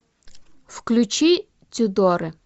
включи тюдоры